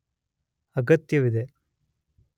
ಅಗತ್ಯವಿದೆ